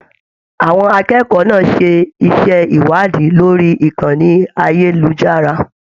Àwọn akẹ́kọ̀ọ́ náà ṣe iṣẹ ìwàádí lórí ìkànnì ayelujara.